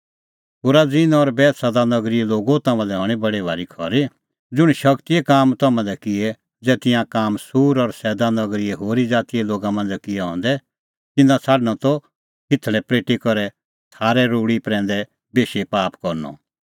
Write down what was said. खुराजीन और बैतसैदा नगरीए लोगो तम्हां लै हणीं बडी खरी ज़ुंण शगतीए काम तम्हां दी किऐ ज़ै तिंयां काम सूर और सैदा नगरीए होरी ज़ातीए लोगा मांझ़ै किऐ हंदै तिन्नां छ़ाडणअ त खिंथल़ै पल़ेटी करै छ़ारे रूल़ी प्रैंदै बेशी पाप करनअ